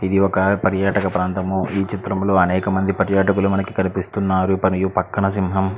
ఇది ఒక పర్యాటక ప్రాంతము ఈ చత్రం లో మనకి అనేక మైన పర్యతుకుల్లు మనకి కనిపిస్తునారు మరియు పక్కన సింహం బొమ్మ కూడా కనిపిస్తుంది.